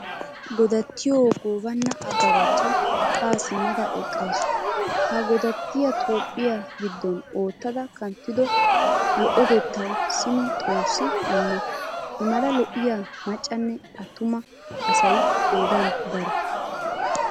Godattiyo goobana ababacha ha simmada eqqasu. Ha godattiyatoophphiyaa giddon oottada kanttido lo'otettawu simi xoossi immo. Imala lo'iyaa maccaanne attuma asay qoodan daro.